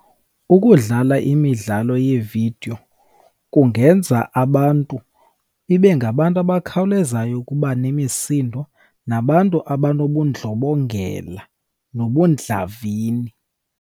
Ukudlala imidlalo yeevidiyo kungenza abantu ibe ngabantu abakhawulezayo ukuba nemisindo, nabantu abanobundlobongela nobundlavini.